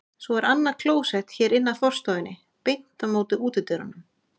Svo er annað klósett hér inn af forstofunni, beint á móti útidyrunum.